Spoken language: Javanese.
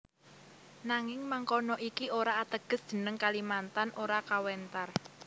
Nanging mangkono iki ora ateges jeneng Kalimantan ora kawentar